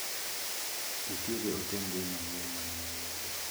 Nitiere ote mbui manyien mane wayudo.